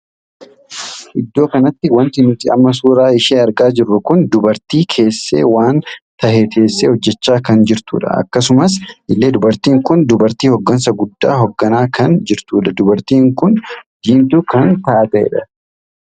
Iddoo kanatti wanti nuti amma suuraa ishee argaa jirru kun dubartii keessee waan tahee teessee hojjechaa kan jirtudha. akkasuma illee dubartiin kun dubartii hoggansa guddaa hogganaa kan jirtudha. dubartiin kun diimtuu kan taateedha.